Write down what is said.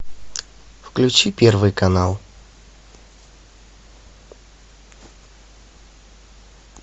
включи первый канал